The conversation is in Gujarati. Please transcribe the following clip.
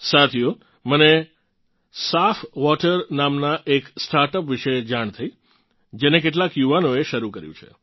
સાથીઓ મને સાફવોટર સાફવોટર નામનાં એક સ્ટાર્ટઅપ વિશે જાણ થઇ જેને કેટલાંક યુવાનોએ શરૂ કર્યું છે